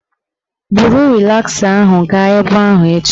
Buru rịlasa ahụ gaa ebe ahụ echi